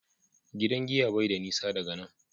gidan giya bai da nisa daga nan